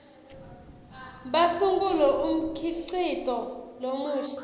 basungule umkhicito lomusha